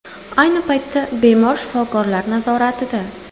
Ayni paytda bemor shifokorlar nazoratida.